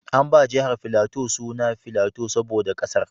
An ba jihar Filato suna Filato saboda ƙasar.